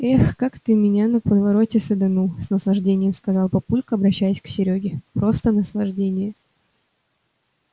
эх как ты меня на повороте саданул с наслаждением сказал папулька обращаясь к серёге просто наслаждение